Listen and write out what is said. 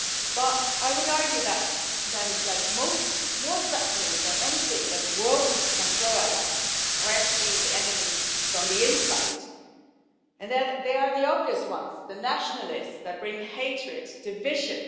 But I would argue that more threatening than anything that the world can throw at us are actually the enemies from the inside, and that they are the obvious ones the nationalists that bring hatred, division